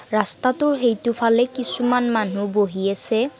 ৰাস্তাটোৰ সেইটোফালে কিছুমান মানুহ বহি আছে।